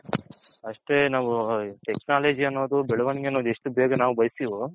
ಅಷ್ಟೆ ನಾವು Technology ಅನೋದು ಬೆಳವಣಿಗೆ ಅನೋದು ಎಷ್ಟು ಬೇಗ ನಾವು ಬಯಸ್ತಿವೋ.